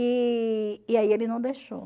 E e aí ele não deixou.